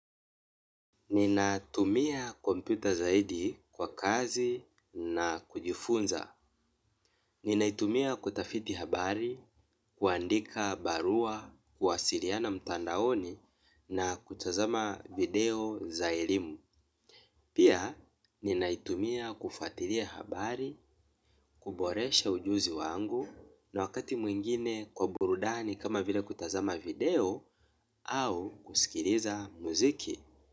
Ninatumia kompyuta zaidi kwa kazi na kujifunza. Ninaitumia kutafiti habari, kuandika barua, kuwasiriana mtandaoni na kutazama video za elimu. Pia, ninaitumia kufatiria habari, kuboresha ujuzi wangu na wakati mwingine kwa burudani kama vila kutazama video au kusikiriza muziki.